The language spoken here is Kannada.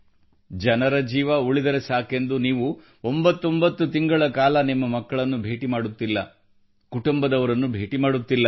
ಜನರ ಜೀವ ಉಳಿದರೆ ಸಾಕೆಂದು ನೀವು 89 ತಿಂಗಳುಗಳ ಕಾಲ ನಿಮ್ಮ ಮಕ್ಕಳನ್ನು ಭೇಟಿ ಮಾಡುತ್ತಿಲ್ಲ ಕುಟುಂಬದವರನ್ನು ಭೇಟಿ ಮಾಡುತ್ತಿಲ್ಲ